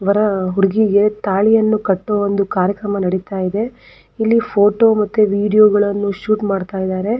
ವರ ಹುಡುಗಿಗೆ ತಾಳಿಯನ್ನು ಕಟ್ಟುವ ಒಂದು ಕಾರ್ಯಕ್ರಮ ನಡೀತಾ ಇದೆ ಇಲ್ಲಿ ಫೋಟೋ ಮತ್ತು ವಿಡಿಯೋ ಗಳನ್ನೂ ಶೂಟ್ ಮಾಡುತ್ತಿದ್ದಾರೆ.